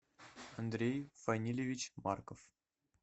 андрей фанильевич марков